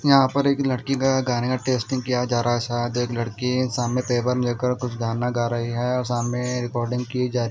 यहाँ पर एक लड़की का गाने का टेस्टिंग किया जा रहा है शायद एक लड़की सामने पेपर में देख कर कुछ गाना गा रही है और सामने रिकॉर्डिंग की जा रही--